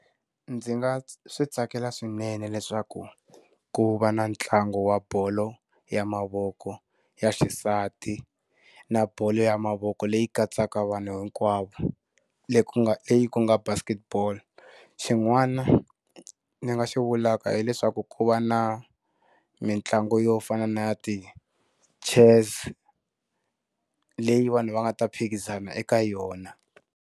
Ndzi nga swi tsakela swinene leswaku ku va na ntlangu wa bolo ya mavoko ya xisati, na bolo ya mavoko leyi katsaka vanhu hinkwavo leyi ku nga ku nga basket ball. Xin'wana ndzi nga xi vulaka hileswaku ku va na mitlangu yo fana na ya ti-chess, leyi vanhu va nga ta phikizana eka yona.